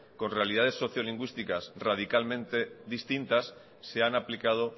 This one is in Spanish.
con realidades socio lingüísticas radicalmente distintas se han aplicado